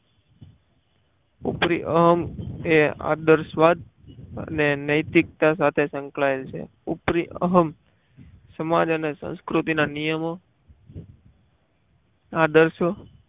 ઉપરી અહમ તે આદર્શવાદ અને નૈતિકતા સાથે સંકળાયેલ છે ઉપરી અહમ સમાજ અને સંસ્કૃતિના નિયમો આદર્શો